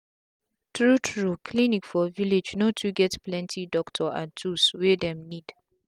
tru tru clinic for village no too get plenti doctor and tools wey dem need